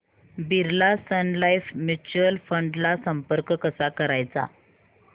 Birla sun life mutual fund ला संपर्क कसा करायचा